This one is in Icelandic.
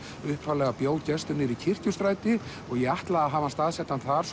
upphaflega bjó Gestur niður í Kirkjustræti og ég ætlaði að hafa hann staðsettan þar